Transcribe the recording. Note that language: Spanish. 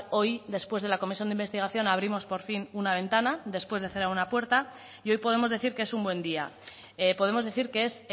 hoy después de la comisión de investigación abrimos por fin una ventana después de cerrar una puerta y hoy podemos decir que es un buen día podemos decir que es